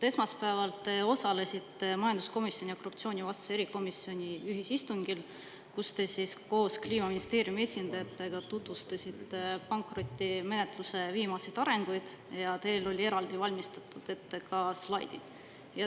Esmaspäeval te osalesite majanduskomisjoni ja korruptsioonivastase erikomisjoni ühisistungil, kus te koos Kliimaministeeriumi esindajatega tutvustasite pankrotimenetluse viimaseid arenguid, ja teil olid ette valmistatud ka slaidid.